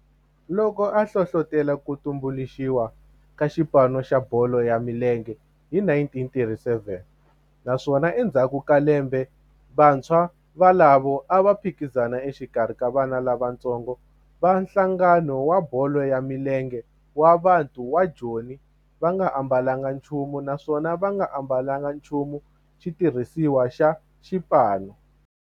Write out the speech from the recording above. loko a hlohlotela ku tumbuluxiwa ka xipano xa bolo ya milenge hi 1937 naswona endzhaku ka lembe vantshwa volavo a va phikizana exikarhi ka vana lavatsongo va nhlangano wa bolo ya milenge wa Bantu wa Joni va nga ambalanga nchumu naswona va nga ambalanga nchumu xitirhisiwa xa xipano.